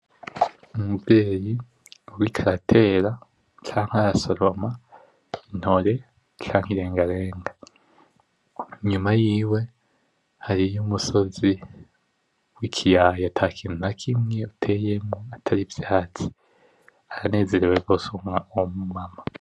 Umuvyeyi ariko aratera canke arasoroma intore canke irengarenga. Inyuma yiwe hariho umusozi, w'ikiyaya atakintu nakimwe uteyeko atari ivyatsi. Aranezerewe gose uwo mu mama.